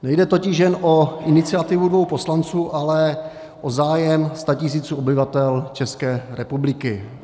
Nejde totiž jen o iniciativu dvou poslanců, ale o zájem statisíců obyvatel České republiky.